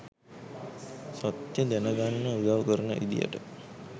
සත්‍යය දැන ගන්න උදව් කරන විදියට